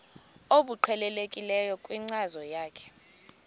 obuqhelekileyo kwinkcazo yakho